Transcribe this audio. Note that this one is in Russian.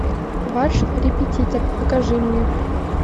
ваш репетитор покажи мне